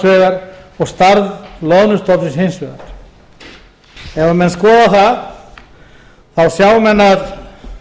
vegar og stærð loðnustofnsins hins vegar ef menn skoða það sjá menn að